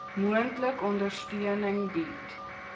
moontlik ondersteuning bied